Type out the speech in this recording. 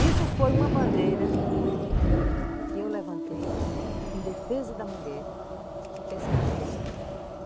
Isso foi uma bandeira que eu levantei em defesa da mulher pescadora.